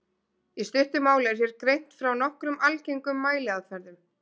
Í stuttu máli er hér greint frá nokkrum algengum mæliaðferðum.